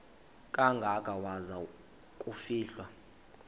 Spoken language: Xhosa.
kangaka waza kufihlwa